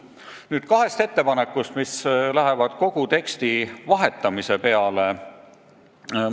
Nüüd kahest ettepanekust, mille järgi tuleks välja vahetada kogu avalduse tekst.